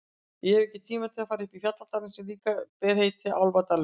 Ég hef ekki tíma til að fara upp í fjalladalinn sem líka ber heitið Álfadalur.